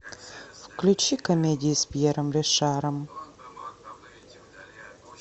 включи комедии с пьером ришаром